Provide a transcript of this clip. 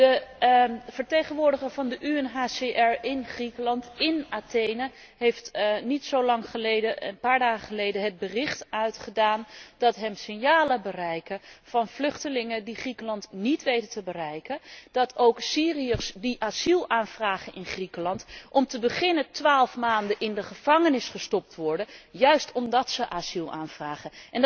De vertegenwoordiger van de UNHCR in Griekenland, in Athene, heeft een paar dagen geleden meegedeeld dat hem signalen bereiken van vluchtelingen die Griekenland niet weten te bereiken en dat ook Syriërs die asiel aanvragen in Griekenland, om te beginnen 12 maanden in de gevangenis gestopt worden, juist omdat zij asiel aanvragen.